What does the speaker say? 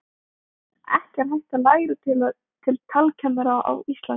Ekki er hægt að læra til talkennara á Íslandi.